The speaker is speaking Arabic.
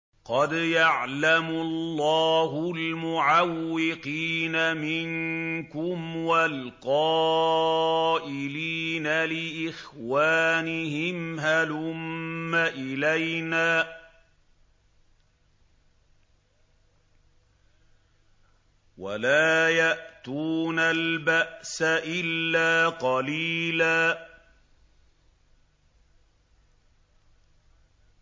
۞ قَدْ يَعْلَمُ اللَّهُ الْمُعَوِّقِينَ مِنكُمْ وَالْقَائِلِينَ لِإِخْوَانِهِمْ هَلُمَّ إِلَيْنَا ۖ وَلَا يَأْتُونَ الْبَأْسَ إِلَّا قَلِيلًا